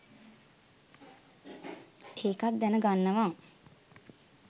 ඒකත් දැනගන්නවා.